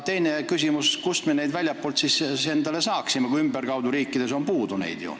Teine küsimus, kust me neid inimesi siis saaksime, kui ümberkaudu riikides neid puudu on?